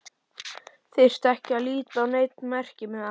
Þyrfti ekki að líta á neinn merkimiða.